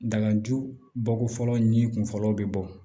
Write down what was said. Dalaju bɔ ko fɔlɔ ɲi kunfɔlɔw bɛ bɔ